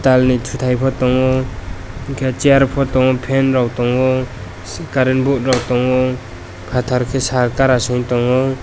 pal ni totai bo tango hingke chair bo tango fan rok tonngo current board rok tango patar kei sar gara se wngtango.